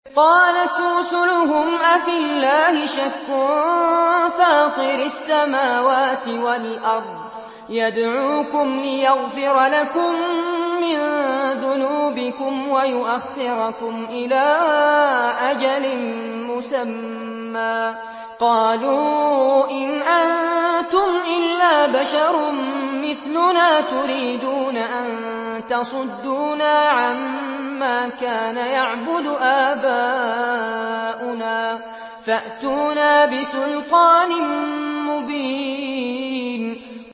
۞ قَالَتْ رُسُلُهُمْ أَفِي اللَّهِ شَكٌّ فَاطِرِ السَّمَاوَاتِ وَالْأَرْضِ ۖ يَدْعُوكُمْ لِيَغْفِرَ لَكُم مِّن ذُنُوبِكُمْ وَيُؤَخِّرَكُمْ إِلَىٰ أَجَلٍ مُّسَمًّى ۚ قَالُوا إِنْ أَنتُمْ إِلَّا بَشَرٌ مِّثْلُنَا تُرِيدُونَ أَن تَصُدُّونَا عَمَّا كَانَ يَعْبُدُ آبَاؤُنَا فَأْتُونَا بِسُلْطَانٍ مُّبِينٍ